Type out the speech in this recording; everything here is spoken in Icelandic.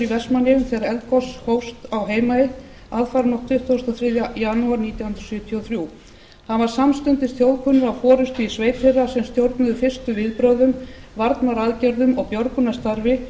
vestmannaeyjum þegar eldgos hófst á heimaey aðfaranótt tuttugasta og þriðja janúar nítján hundruð sjötíu og þrjú hann varð samstundis þjóðkunnur af forustu í sveit þeirra sem stjórnuðu fyrstu viðbrögðum varnaraðgerðum og björgunarstarfi